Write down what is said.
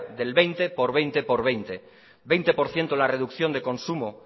del veinte por veinte veinte por ciento en la reducción de consumo